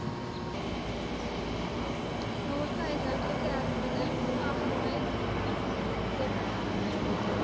naaste huishoudelike herwinningsaflaaidepot